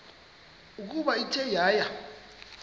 ukuba ithe yaya